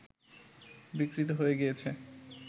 বিকৃত হয়ে গিয়েছে